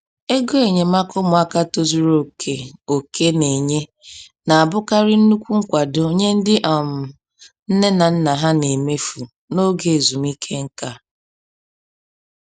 Ego enyemaka ụmụaka tozuru oke oke na-enye na-abụkarị nnukwu nkwado nye ndị um nne na nna ha na-emefu n’oge ezumike nka.